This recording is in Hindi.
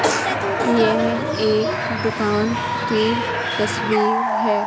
यह एक दुकान की तस्वीर है।